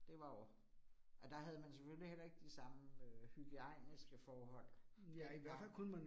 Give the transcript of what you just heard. Det var jo, og der havde man selvfølgelig heller ikke de samme øh hygiejniske forhold dengang